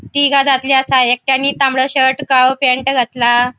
तिगा दादले असा एकट्यानी तांबडो शर्ट काळो पैन्ट घातला.